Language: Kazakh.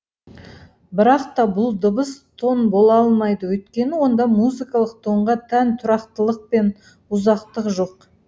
бірақ та бұл дыбыс тон бола алмайды өйткені онда музыкалық тонға тән тұрақтылық пен ұзақтық жоқ